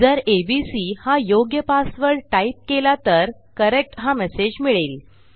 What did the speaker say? जर एबीसी हा योग्य पासवर्ड टाईप केला तर करेक्ट हा मेसेज मिळेल